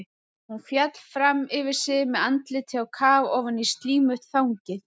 Hún féll fram yfir sig með andlitið á kaf ofan í slímugt þangið.